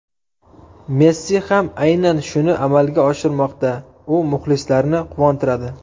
Messi ham aynan shuni amalga oshirmoqda, u muxlislarni quvontiradi.